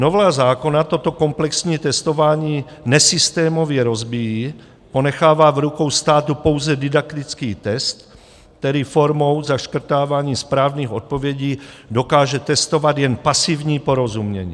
Novela zákona toto komplexní testování nesystémově rozbíjí, ponechává v rukou státu pouze didaktický test, který formou zaškrtávání správných odpovědí dokáže testovat jen pasivní porozumění.